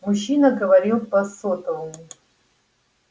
мужчина говорил по сотовому